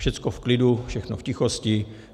Všecko v klidu, všechno v tichosti.